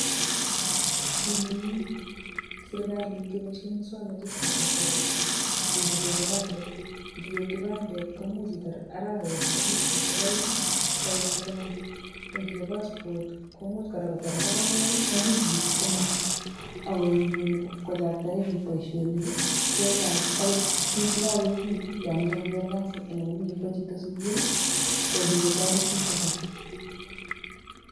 Kinyumnyum serikalit kepoishe muswoknatetab kasari kechope kipandok, kichope kipandet komuch itar arawet ak wikisiek aeng kopit kipandit,. Ko ngichop passport komuch kotar arawek aeng ak wikit komong ako nyumnyum kochaktae biik boisionik. Akot biik chekakoekitu yon mechei konyor kasi anan komache kowo chito sukul, ko kikotoret biik chechang.